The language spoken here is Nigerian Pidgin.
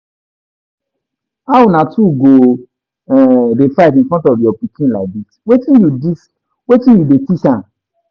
How una two go um dey fight in front of your pikin like dis, wetin you dis, wetin you dey teach am?